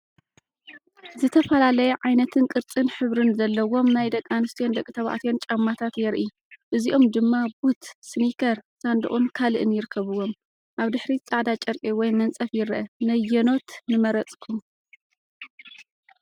ዝተፈላለየ ዓይነትን ቅርጽን ሕብርን ዘለዎም ናይ ደቂ ኣንስትዮን ደቂ ተባዕትዮን ጫማታት የርኢ። እዚኦም ድማ ቡት፡ ስኒከር፡ ሳንዱቕን ካልእን ይርከብዎም። ኣብ ድሕሪት ጻዕዳ ጨርቂ ወይ መንጸፍ ይርአ። ነየነኖት ንመረፅኩም?